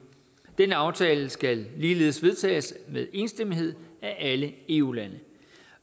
den aftale skal ligeledes vedtages med enstemmighed af alle eu lande